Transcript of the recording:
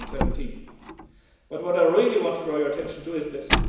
2017. But what I really want to draw your attention to is this.